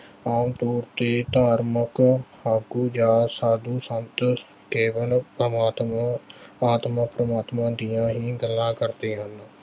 ਆਮ ਤੌਰ ਤੇ ਧਾਰਮਿਕ ਆਗੂ ਜਾਂ ਸਾਧੂ-ਸੰਤ ਕੇਵਲ ਪ੍ਰਮਾਤਮਾ, ਆਤਮਾ-ਪ੍ਰਮਾਤਮਾ ਦੀਆਂ ਹੀ ਗੱਲਾਂ ਕਰਦੇ ਹਨ